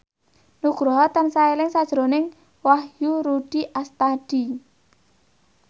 Nugroho tansah eling sakjroning Wahyu Rudi Astadi